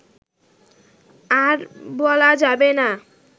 আর বলা যাবে না